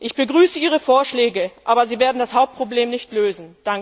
Ich begrüße Ihre Vorschläge, aber Sie werden das Hauptproblem nicht lösen.